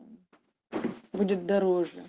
будет дороже